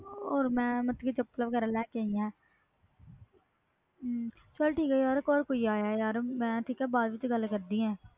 ਹੋਰ ਮੈਂ ਚੱਪਲਾਂ ਲੈ ਕੇ ਆਈ ਆ ਚਲ ਠੀਕ ਹੈ ਯਾਰ ਘਰ ਕੋਈ ਆਇਆ ਬਾਅਦ ਵਿਚ ਗੱਲ ਕਰਦੀ ਆ